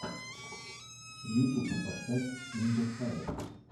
ютуб поставь индосайр